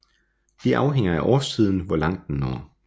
Det afhænger af årstiden hvor langt den når